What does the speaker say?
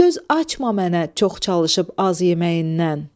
Söz açma mənə çox çalışıb az yeməyindən.